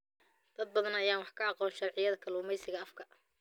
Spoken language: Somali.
Dad badan ayaan wax ka aqoon sharciyada kalluumeysiga afka.